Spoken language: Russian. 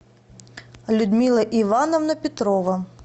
людмила ивановна петрова